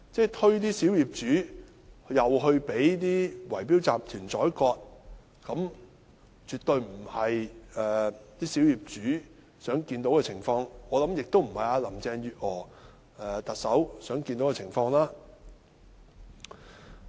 再把小業主推出去讓圍標集團宰割，這絕不是小業主想看到的情況，我相信這亦不是特首林鄭月娥想看到的情況。